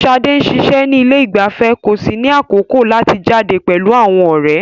Sade ń ṣiṣẹ́ ní ilé ìgbafẹ́ kò sì ní àkókò láti jáde pẹ̀lú àwọn ọ̀rẹ́.